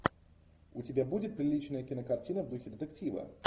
у тебя будет приличная кинокартина в духе детектива